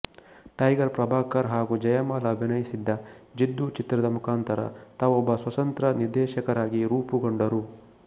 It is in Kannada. ಟೈಗರ್ ಪ್ರಭಾಕರ್ ಹಾಗೂ ಜಯಮಾಲ ಅಭಿನಯಿಸಿದ್ದ ಜಿದ್ದು ಚಿತ್ರದ ಮುಖಾಂತರ ತಾವೊಬ್ಬ ಸ್ವತಂತ್ರ ನಿರ್ದೇಶಕರಾಗಿ ರೂಪುಗೊಂಡರು